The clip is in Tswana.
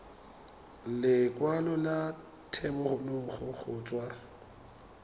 lekwalo la thebolo go tswa